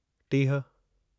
टीह